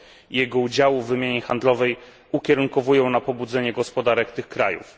i jego udziału w wymianie handlowej ukierunkowują na pobudzenie gospodarek tych krajów.